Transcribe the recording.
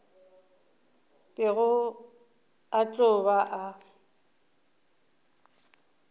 bego a tlo ba a